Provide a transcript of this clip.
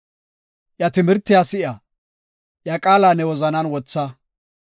Iya timirtiya si7a; iya qaala ne wozanan wotha.